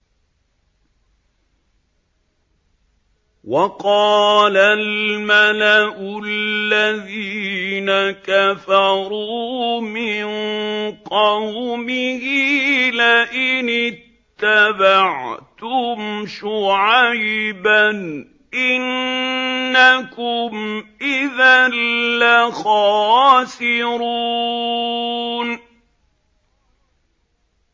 وَقَالَ الْمَلَأُ الَّذِينَ كَفَرُوا مِن قَوْمِهِ لَئِنِ اتَّبَعْتُمْ شُعَيْبًا إِنَّكُمْ إِذًا لَّخَاسِرُونَ